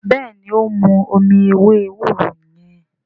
béèni o n mú omí ewé ewúro yen.